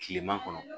Kileman kɔnɔ